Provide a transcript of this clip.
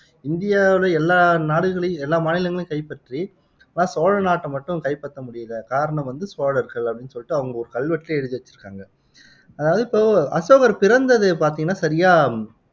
இந்தியாவுல எல்லா நாடுகளையும் மாநிலங்களையும் கைப்பற்றி ஆனா சோழ நாட்டை மட்டும் கைப்பற்ற முடியல காரணம் வந்து சோழர்கள் அப்படின்னு சொல்லிட்டு அவங்க ஒரு கல்வெட்டுலயே எழுதி வச்சுருக்காங்க அதாவது இப்போ அசோகர் சிறந்தது பாத்தீங்கன்னா சரியா